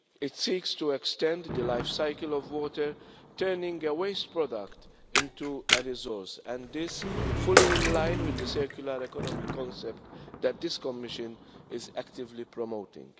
It seeks to extend the lifecycle of water, turning a waste product into a resource and is fully in line with the circular economy concept that this Commission is actively promoting.